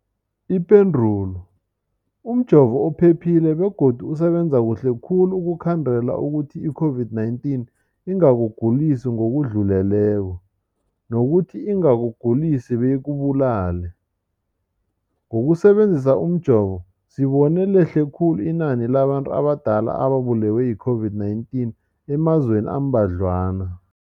Ipendulo, umjovo uphephile begodu usebenza kuhle khulu ukukhandela ukuthi i-COVID-19 ingakugulisi ngokudluleleko, nokuthi ingakugulisi beyikubulale. Ngokusebe nzisa umjovo, sibone lehle khulu inani labantu abadala ababulewe yi-COVID-19 emazweni ambadlwana.